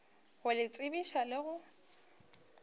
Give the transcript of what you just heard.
go le tsebiša le go